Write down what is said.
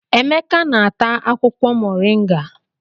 Emeka na-ata akwukwo Mọrịnga.